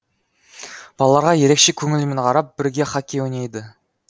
балаларға ерекше көңілмен қарап бірге хоккей ойнайды